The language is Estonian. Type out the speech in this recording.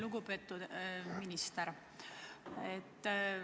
Lugupeetud minister!